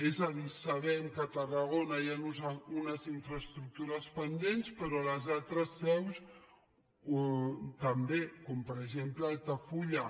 és a dir sabem que a tarragona hi han unes infraestructures pendents però a les altres seus també com per exemple a altafulla